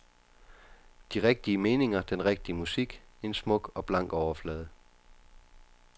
De rigtige meninger, den rigtige musik, en smuk og blank overflade.